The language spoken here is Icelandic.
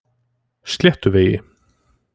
Sléttuvegi